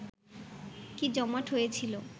কি জমাট হয়েছিল